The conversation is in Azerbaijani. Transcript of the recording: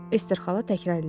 Ester xala təkrarladı.